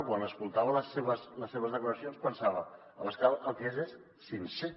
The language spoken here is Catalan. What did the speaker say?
quan escoltava les seves declaracions pensava abascal el que és és sincer